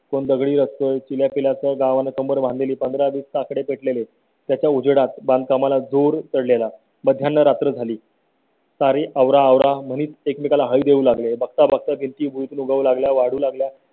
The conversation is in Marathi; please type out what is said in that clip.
कोण दगडी रचतोय जिल्ह्यातील या गावा ने कंबर बांधिली पंधरा दिवस आकडे भेटले त्याच्या उजेडात बांधकामाला दूर चढलेला. मध्ये रात्र झाली. सारी आवराआवर मनीत एकमेका ला हवी देऊ लागले. बघता बघता भीती मुळे लागल्या वाढू लागल्या.